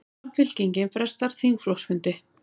Samfylkingin frestar þingflokksfundi